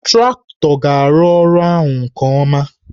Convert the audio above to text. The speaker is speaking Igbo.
Traktọ ga-arụ ọrụ ahụ nke ọma